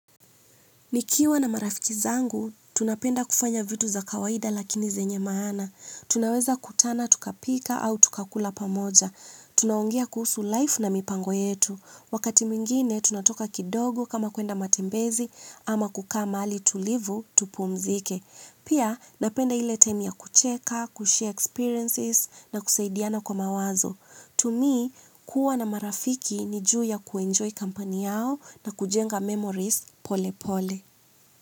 Nikiwa na marafiki zangu tunapenda kufanya vitu za kawaida lakini zenye maana tunaweza kutana tukapika au tukakula pamoja. Tunaongea kuhusu laifu na mipango yetu. Wakati mwingine, tunatoka kidogo kama kwenda matembezi ama kukaa mahali tulivu tupumzike. Pia, napenda ile taimu ya kucheka, kushea ekspiriensizi na kusaidiana kwa mawazo. Tumi kuwa na marafiki ni juu ya kuinjoi kampani yao na kujenga memorizi pole pole.